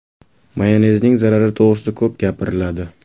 Mayonezning zarari to‘g‘risida ko‘p gapiriladi.